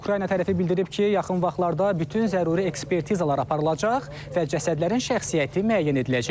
Ukrayna tərəfi bildirib ki, yaxın vaxtlarda bütün zəruri ekspertizalar aparılacaq və cəsədlərin şəxsiyyəti müəyyən ediləcək.